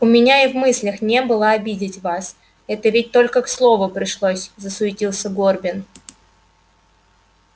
у меня и в мыслях не было обидеть вас это ведь только к слову пришлось засуетился горбин